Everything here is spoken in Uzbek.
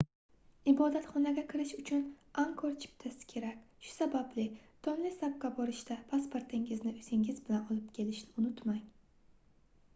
ibodatxonaga kirish uchun angkor chiptasi kerak shu sababli tonlesapga borishda pasportingizni oʻzingiz bilan olib kelishni unutmang